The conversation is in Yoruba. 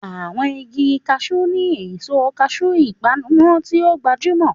Àwọn igi Cashew ní èso cashew, ìpanu tí ó gbajúmọ̀.